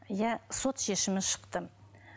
иә сот шешімі шықты